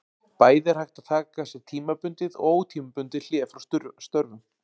Bæði er hægt að taka sér tímabundið og ótímabundið hlé frá störfum.